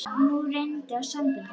Nú reyndi á sambönd hennar.